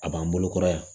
A b'an bolokɔrɔ yan